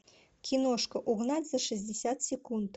киношка угнать за шестьдесят секунд